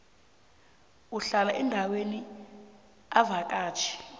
uhlala endaweni avakatjhe